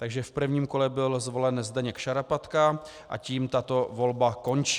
Takže v prvním kole byl zvolen Zdeněk Šarapatka a tím tato volba končí.